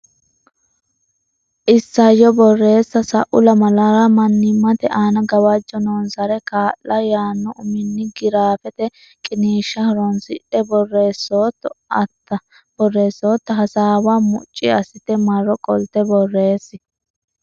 Isayyo Borreessa Sa u lamalara Mannimmate Aana Gawajjo Noonsare Kaa la yaanno uminni giraafete qiniishsha horonsidhe borreessootto atta hasaawa mucci assite marro qolte borreessi.